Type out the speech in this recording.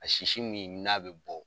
A sisi min n'a bɛ bɔ